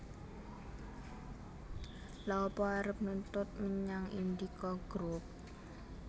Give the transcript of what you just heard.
Lha apa arep nuntut menyang Indika Group?